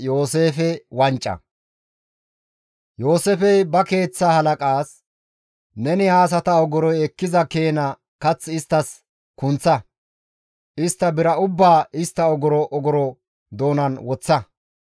Yooseefey ba keeththaa halaqazas, «Neni ha asata ogoroy ekkiza keena kath isttas kunththa; istta bira ubbaa istta ogoro ogoro doonan woththa;